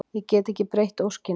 Ég get ekki breytt óskinni.